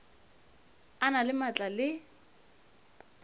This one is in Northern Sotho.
o na le maatla le